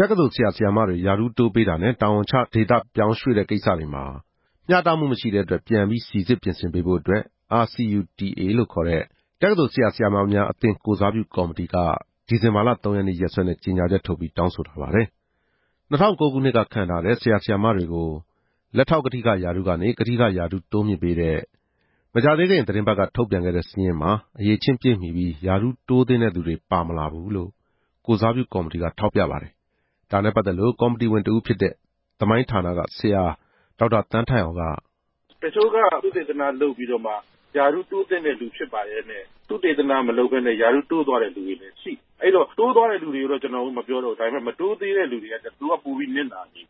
တက္ကသိုလ် ဆရာ/ဆရာမတွေ ရာထူးတိုးပေးတာနဲ့ တာဝန်ကျဒေသ ရွှေ့ပြောင်းတဲ့ကိစ္စတွေမှာ မျှတမှုမရှိတဲ့အတွက် ပြန်ပြီးစိစစ် ပြင်ဆင်ပေးဖို့ RCUTA တက္ကသိုလ်ဆရာ/ဆရာမများအသင်း ကိုယ်စားပြု ကော်မတီက ဒီဇင်ဘာလ ၃ ရက်နေ့စွဲနဲ့ ကြေညာချက်ထုတ်ပြန် တောင်းဆိုထားပါတယ်။ ၂ဝဝ၉ ခုနှစ်က ခန့်ထားခဲ့တဲ့ ဆရာဆရာမတွေကို လက်ထောက်ကထိက ရာထူးကနေ ကထိကရာထူး တိုးမြှင့်ပေးလိုက်ကြောင်း မကြာသေးခင်သီတင်းပတ်က ထုတ်ပြန်ခဲ့တဲ့စာရင်းမှာ အရည်အချင်းပြည့်မီပြီး ရာထူးတိုးသင့်တဲ့သူတွေ ပါမလာဘူးလို့ ကိုယ်စားပြုကော်မတီက ထောက်ပြပါတယ်။ ဒါနဲ့ပတ်သက်လို့ ကော်မတီဝင်တဦးဖြစ်တဲ့ သမိုင်းဆရာ ဒေါက်တာသန်းထိုက်အောင်က... “တချို့က သုတေသနလုပ်ပြီးတော့မှ ရာထူးတိုးသင့်တဲ့သူ ဖြစ်ပါလျက်နဲ့ သုတေသနမလုပ်ဘဲနဲ့ ရာထူးတိုးသွားတဲ့သူလည်း ရှိတယ်။ တိုးသွားတဲ့သူတွေအတွက်တော့ ကျနော်တို့က မပြောတော့ဘူး။ မတိုးသေးတဲ့ သူတွေကတော့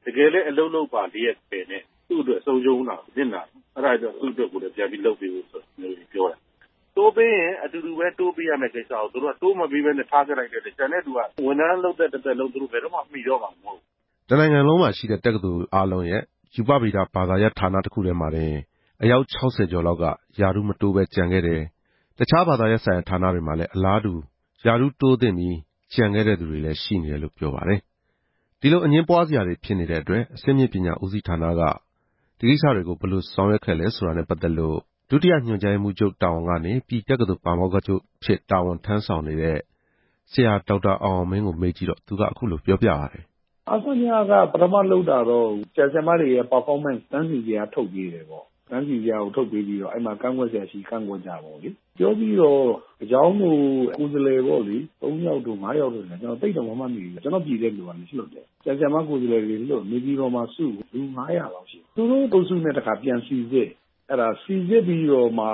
တကယ်လည်း အလုပ်လုပ်ရဲ့သားနဲ့ သူ့အတွက် ပိုပြီးဆုံးရှုံးတယ်၊ နစ်နာတယ်။ အဲဒါကြောင့် သူတို့အတွက်ကိုလည်း ပြန်ပြီးလုပ်ပေးဖို့ပြောတာ။ တိုးပေးရင်အတူတူပဲ တိုးပေးရမှာကို၊ ထားခဲ့လိုက်တဲ့အတွက် ကျန်တဲ့သူအတွက်က ဝန်ထမ်းလုပ်သက် တစ်သက်လုံး ဘယ်တော့မှမီတော့မှာမဟုတ်ဘူး”... လို့ပြောပါတယ်။ တစ်နိုင်ငံလုံးမှာရှိတဲ့ တက္ကသိုလ်တွေအားလုံးရဲ့ ရူပဗေဒဘာသာရပ်ဌာနမှာ အယောက် ၆ဝ ကျော် လောက်က ရာထူးမတိုးပဲကျန်ခဲ့တယ်၊ တခြားဘာသာရပ်ဆိုင်ရာ ဌာနတွေမှာလည်း အလားတူ ရာထူးတိုးသင့်ပြီး ကျန်ခဲ့တဲ့သူတွေလည်း ရှိနေတယ်လို့ ပြောပါတယ်။ ဒီလို အငြင်းပွားစရာတွေ ဖြစ်နေတဲ့အတွက် အဆင့်မြင့်ပညာဦးစီးဌာနက ဘယ်လိုဆောင်ရွက်ခဲ့သလဲ ဆိုတာနဲ့ပတ်သက်လို့ ဒုတိညွှန်ကြားရေးမှူးချုပ်တာဝန်ကနေ ပြည်တက္ကသိုလ် ပါမောက္ခချုပ် တာဝန်ထမ်းဆောင်နေတဲ့ ဆရာဒေါက်တာအောင်အောင်မင်းကို မေးကြည့်တော့ သူကအခုလို ပြောပြပါတယ်။ “အဆညက ပထမ လုပ်တာတော့ ဆရာ/ဆရာမတွေရဲ့ ပါဖောမန့်စ်တန်းစီဇယား ထုတ်ပေးတယ်ပေါ့။ တန်းစီဇယား ထုတ်ပေးပြီးတော့ အဲဒီမှာ ကန့်ကွက်စရာရှိ ကန့်ကွက်ကြပေါ့လေ။ ပြောပြီးတော့ တကျောင်းကို ကိုယ်စားလှယ်ပေါ့လေ ၃ ယောက်တို့ ၅ ယောက်တို့၊ ကျနော့်ပြည်တက္ကသိုလ်ကလည်း လွှတ်တယ်။ ဆရာ/ဆရာမကိုယ်စားလှယ်တွေ လွှတ်၊ နေပြည်တော်မှာစု၊ လူငါးရာလောက်ရှိတယ်။ သူတို့အုပ်စုနဲ့ တခါပြန်စိစစ်၊စိစစ်ပြီးတော့မှ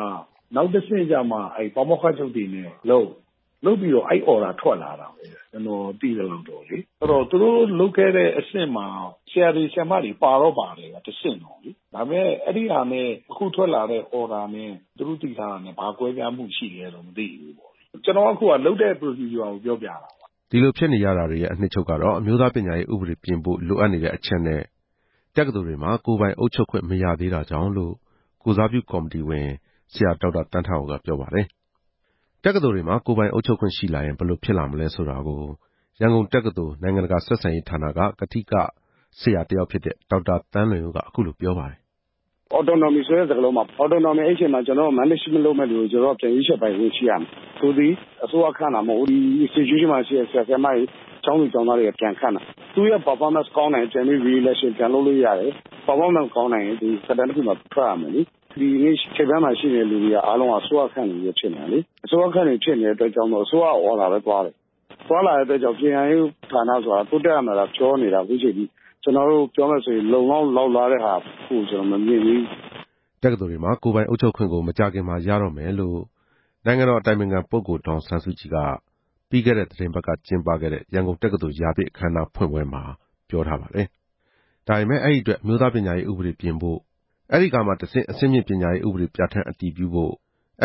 နောက်တဆင့်ကျမှ ပါမောက္ခချုပ်တွေနဲ့လုပ်၊ လုပ်ပြီးတော့ အဲဒီညွှန်ကြားချက် ထွက်လာတာပဲ။ အဲဒီတော့ သူတို့လုပ်ခဲ့တဲ့အဆင့်မှာ ဆရာတွေ ဆရာမတွေ ပါတော့ ပါတယ်။ ဒါပေမယ့် အခုထွက်လာတာနဲ့ သူတို့သိထားတာနဲ့ ဘာကွဲပြားမှုရှိလည်းတော့ မသိဘူး။ ကျနော်က လုပ်တဲ့အစီအစဉ်ကို ပြောပြတာပါ” ဒီလိုဖြစ်နေရတာတွေရဲ့ အနှစ်ချုပ်က အမျိုးသားပညာရေးဥပဒေ ပြင်ဖို့လိုအပ်နေတဲ့အချက်နဲ့ တက္ကသိုလ်တွေမှာ ကိုယ်ပိုင်အုပ်ချုပ်ခွင့် မရသေးတာကြောင့်လို့ ကိုယ်စားပြုကော်မတီဝင် ဆရာ ဒေါက်တာသန်းထိုက်အောင်က ပြောပါတယ်။ တက္ကသိုလ်တွေမှာ ကိုယ်ပိုင်အုပ်ချုပ်ခွင့်ရှိလာရင် ဘယ်လိုဖြစ်လာမလဲဆိုတာကို ရန်ကုန်တက္ကသိုလ် နိုင်ငံတကာဆက်ဆံရေးဌာနက ကထိကဒေါက်တာ သန်းလွင်ဦးက... “အော်တိုနော်မီ ဆိုတဲ့စကားလုံးမှာ Management စီမံခန့်ခွဲတဲ့သူတွေကို ကျနော်တို့က ပြန်ရွေးချယ်ပိုင် ခွင့်ရှိရမယ်။ သူသည် အစိုးရခန့်တာ မဟုတ်ဘူး၊ ဒီ Institution မှာရှိတဲ့ ကျောင်းသူကျောင်းသားတွေ ပြန်ခန့်တာ။ သူ့ရဲ့ပါဖောမန့်ကောင်းရင် ပြန်အရွေးခံလို့ရတယ်။ ပါဖောမန့်မကောင်းရင် သက်တမ်းတခုပြီးရင် ထွက်ရမယ်လေ။ ဒီနေ့ ထိပ်ပိုင်းမှာရှိနေတဲ့သူတွေ အားလုံးက အစိုးရခန့်တွေပဲ ဖြစ်နေတယ်လေ။ အစိုးရခန့်တွေပဲ ဖြစ်နေတဲ့အတွက်ကြောင့် အစိုးရညွှန်ကြားချက်အတိုင်းပဲ သွားတယ်။ သွားနေတဲ့အတွက်ကြောင့် ပညာရေးမှာ တိုးတက်ရမယ်လို့သာပြောနေတာ ခုချိန်ထိ ပြောမယ်ဆိုရင် မတွေ့သေးဘူး”... လို့ပြောပါတယ်။ တက္ကသိုလ်တွေမှာ ကိုယ်ပိုင်အုပ်ချုပ်ခွင့် မကြာခင် ရတော့မယ်လို့ နိုင်ငံတော်အတိုင်ပင်ခံပုဂ္ဂိုလ် ဒေါ်အောင်ဆန်းစုကြည်က ပြီးခဲ့တဲ့ သီတင်းပတ်က ကျင်းပခဲ့တဲ့ ရန်ကုန်တက္ကသိုလ်ရာပြည့်အခမ်းအနား ဖွင့်ပွဲမှာ ပြောထားပါတယ်။ ဒါပေမယ့် အဲဒီအတွက် အမျိုးသားပညာရေးဥပဒေ ပြင်ဖို့၊ အဲဒီကမှတဆင့် အဆင့်မြင့်ပညာရေးဥပဒေ ပြဌာန်း အတည်ပြုဖို့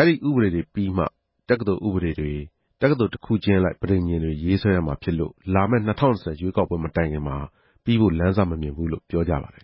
၊ အဲဒီဥပဒေတွေပြီးမှ တက္ကသိုလ်ဥပဒေတွေ၊ ပဋိဉာဉ်တွေ ရေးဆွဲမှာဖြစ်လို့ လာမယ့် ၂ဝ၂ဝ ရွေးကောက်ပွဲမတိုင်ခင်မှာ ပြီးဖို့ လမ်းစမမြင်ဘူးလို့ ပြောကြပါတယ်